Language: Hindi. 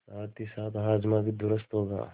साथहीसाथ हाजमा भी दुरूस्त होगा